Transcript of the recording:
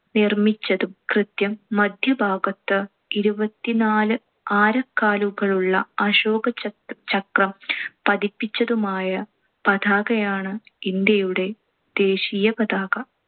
നിർമ്മിച്ചതും കൃത്യം മദ്ധ്യഭാഗത്ത് ഇരുപത്തിനാല് ആരക്കാലുകളുള്ള അശോക ചക്~ ചക്രം പതിപ്പിച്ചതുമായ പതാകയാണ് ഇന്ത്യയുടെ ദേശീയപതാക.